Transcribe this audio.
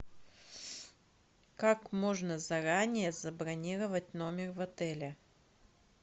как можно заранее забронировать номер в отеле